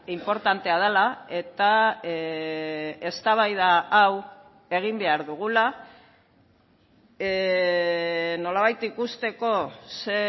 inportantea dela eta eztabaida hau egin behar dugula nolabait ikusteko ze